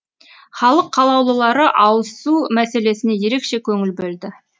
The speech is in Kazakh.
халық қалаулылары ауызсу мәселесіне ерекше көңіл бөлді